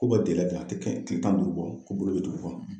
K'u bɛ di yan a tɛ kile tan ni duuru bɔ ko bolo bɛ tugu o kɔnɔ.